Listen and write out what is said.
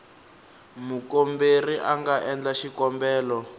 mukomberi a nga endla xikombelo